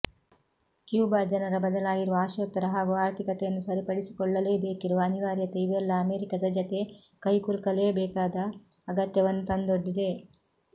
Cuba ಜನರ ಬದಲಾಗಿರುವ ಆಶೋತ್ತರ ಹಾಗೂ ಆರ್ಥಿಕತೆಯನ್ನು ಸರಿಪಡಿಸಿಕೊಳ್ಳಲೇಬೇಕಿರುವ ಅನಿವಾರ್ಯತೆ ಇವೆಲ್ಲ ಅಮೆರಿಕದ ಜತೆ ಕೈಕುಲುಕಲೇಬೇಕಾದ ಅಗತ್ಯವನ್ನು ತಂದೊಡ್ಡಿದೆ